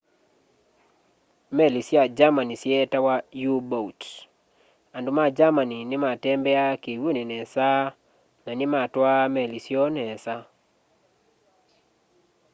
meli sya germany syeetawa u-boat andu ma germany ni matembeaa kiwuni nesa na nimatwaa meli syoo nesa